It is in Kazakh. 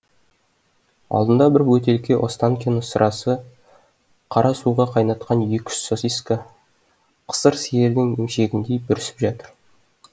алдында бір бөтелке останкино сырасы қара суға қайнатқан екі үш сосиска қысыр сиырдың емшегіндей бүрісіп жатыр